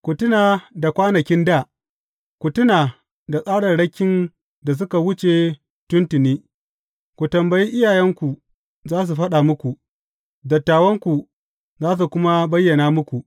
Ku tuna da kwanakin dā, ku tuna da tsararrakin da suka wuce tun tuni, Ku tambayi iyayenku, za su faɗa muku, dattawanku, za su kuma bayyana muku.